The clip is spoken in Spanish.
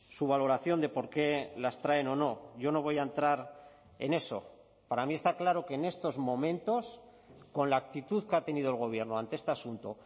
su valoración de por qué las traen o no yo no voy a entrar en eso para mí está claro que en estos momentos con la actitud que ha tenido el gobierno ante este asunto